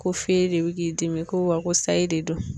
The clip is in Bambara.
Ko fee de bi k'i dimi ko wa ko sayi de don.